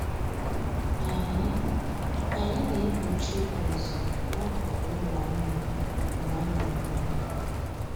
Anyị Anyị na-egbochi ụzụ n'akụkụ ụlọ anụ mgbe a na-amụ nwa